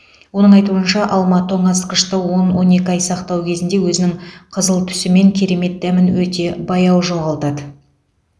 оның айтуынша алма тоңазытқышта он он екі ай сақтау кезінде өзінің қызыл түсі мен керемет дәмін өте баяу жоғалтады